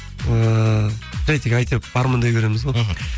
ыыы жай тек әйтеуір армандай береміз ғой мхм